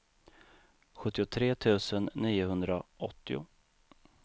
sjuttiotre tusen niohundraåttio